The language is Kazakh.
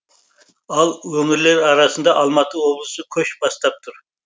ал өңірлер арасында алматы облысы көш бастап тұр